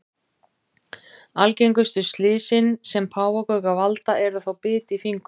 Algengustu slysin sem páfagaukar valda eru þó bit í fingur.